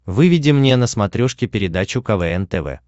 выведи мне на смотрешке передачу квн тв